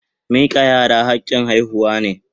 Mikan yara hakin haihuwa ne.